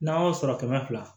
N'an y'o sɔrɔ kɛmɛ fila